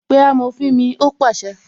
"Pé amòfin mi "ó pàṣẹ